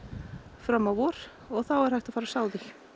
fram á vor og þá er hægt að fara að sá því